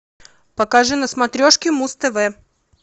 покажи на смотрешке муз тв